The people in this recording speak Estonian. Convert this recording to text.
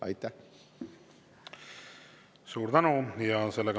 Suur tänu!